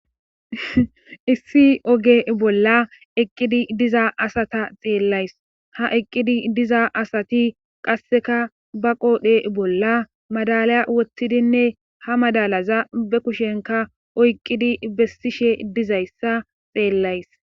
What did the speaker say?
Issi oge bolla eqqidi diza asata xeellays ha eqqidi diza asati qasseka ba qoodhe bolla madalaya wottidinne ha madalaza be kushenka oyqqidi bessishe dizayssa xeellays.